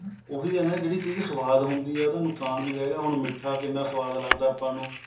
ਉਹੀ ਹੈ ਨਾ ਜਿਹੜੀ ਚੀਜ ਸਵਾਦ ਹੁੰਦੀ ਹੈ ਉਹਦਾ ਨੁਕਸਾਨ ਵੀ ਹੈਗਾ ਹੁਣ ਮਿੱਠਾ ਕਿੰਨਾ ਸਵਾਦ ਲੱਗਦਾ ਆਪਾਂ ਨੂੰ